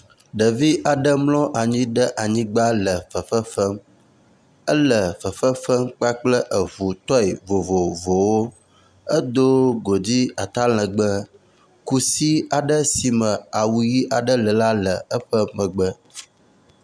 Ɖevi aɖe mlɔ anyi ɖe anyigba le fefem. Ele fefefem kpakple eŋu tɔi vovovowo. Edo godui atalegbe. Kusi aɖe si me awu ʋi le la le emegbe.